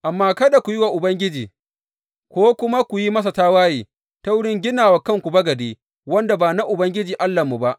Amma kada ku yi wa Ubangiji, ko kuma ku yi mana tawaye ta wurin gina wa kanku bagade wanda ba na Ubangiji Allahnmu ba.